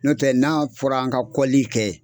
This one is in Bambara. Nɔ tɛ n'a fɔra an ka kɛ.